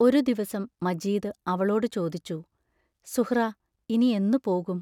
ഒരു ദിവസം മജീദ് അവളോടു ചോദിച്ചു: സുഹ്റാ ഇനി എന്നു പോകും?